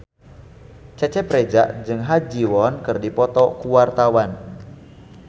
Cecep Reza jeung Ha Ji Won keur dipoto ku wartawan